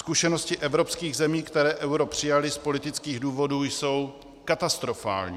Zkušenosti evropských zemí, které euro přijaly z politických důvodů, jsou katastrofální.